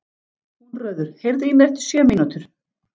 Húnröður, heyrðu í mér eftir sjö mínútur.